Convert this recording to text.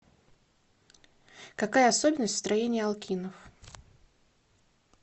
какая особенность в строении алкинов